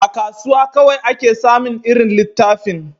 A kasuwa kawai ake samin irin littafin